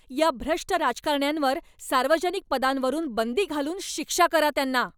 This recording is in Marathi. या भ्रष्ट राजकारण्यांवर सार्वजनिक पदांवरून बंदी घालून शिक्षा करा त्यांना.